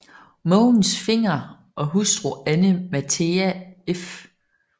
Mogens Fenger og hustru Anne Mathea f